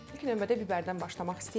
İlk növbədə bibərdən başlamaq istəyirəm.